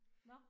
Nåh